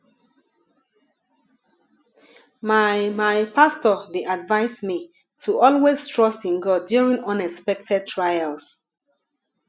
my my pastor dey advise me to always trust in god during unexpected trials